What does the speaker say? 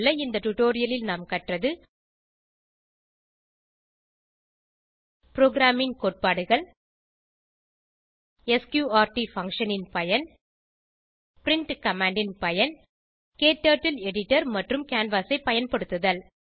இந்த டுடோரியலில் நாம் கற்றது ப்ரோகிராமிங் கோட்பாடுகள் ஸ்க்ரூட் பங்ஷன் ன் பயன் பிரின்ட் கமாண்ட் ன் பயன் க்டர்ட்டில் எடிட்டர் மற்றும் கேன்வாஸ் ஐ பயன்படுத்துதல்